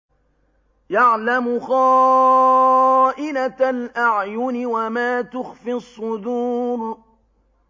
يَعْلَمُ خَائِنَةَ الْأَعْيُنِ وَمَا تُخْفِي الصُّدُورُ